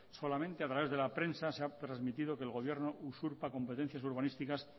solamente a través de la prensa se ha transmitido que el gobierno usurpa competencias urbanísticas